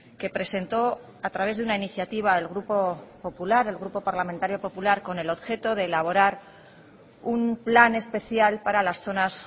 que presentó a través de una iniciativa el grupo popular el grupo parlamentario popular con el objeto de elaborar un plan especial para las zonas